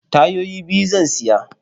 Tayoyi biyu zan siya.